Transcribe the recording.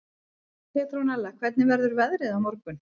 Petronella, hvernig verður veðrið á morgun?